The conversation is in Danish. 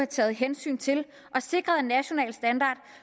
taget hensyn til og sikret en national standard